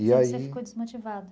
E aí, você ficou desmotivado?